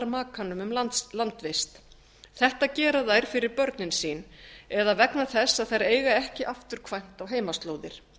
makanum um landvist þetta gera þær fyrir börnin sín eða vegna þess að þær eiga ekki afturkvæmt á heimaslóðir